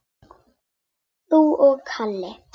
Þú og Halli?